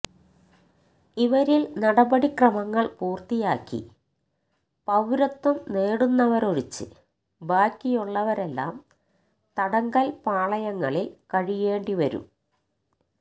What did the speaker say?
ഇവരില് നടപടി ക്രമങ്ങള് പൂര്ത്തിയാക്കി പൌരത്വം നേടുന്നവരൊഴിച്ച് ബാക്കിയുള്ളവരെല്ലാം തടങ്കല് പാളയങ്ങളില് കഴിയേണ്ടി വരും